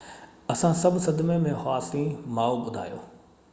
اسان سڀ صدمي ۾ هئاسين ماءُ ٻڌايو